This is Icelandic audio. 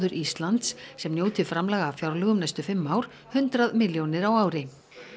Íslands sem njóti framlaga af fjárlögum næstu fimm ár hundrað milljóna á ári